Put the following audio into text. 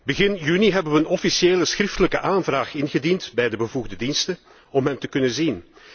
Begin juni hebben we een officiële schriftelijke aanvraag ingediend bij de bevoegde diensten om hem te kunnen zien.